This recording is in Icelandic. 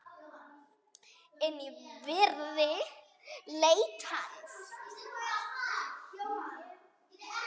En ég virði leit hans.